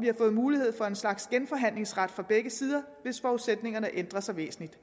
vi har fået mulighed for en slags genforhandlingsret fra begge sider hvis forudsætningerne ændrer sig væsentligt